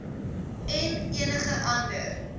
en enige ander